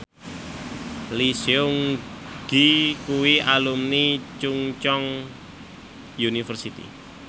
Lee Seung Gi kuwi alumni Chungceong University